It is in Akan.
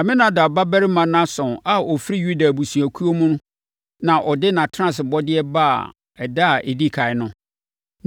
Aminadab babarima Nahson a ɔfiri Yuda abusuakuo mu na ɔde nʼatenasebɔdeɛ baa ɛda a ɛdi ɛkan no.